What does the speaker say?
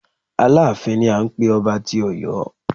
Aláàfin ni à ń pé ọba tí Ọ̀yọ́.